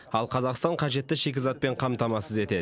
ал қазақстан қажетті шикізатпен қамтамасыз етеді